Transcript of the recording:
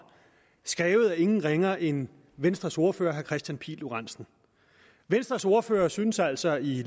skrevet af ingen ringere end venstres ordfører herre kristian pihl lorentzen venstres ordfører synes altså i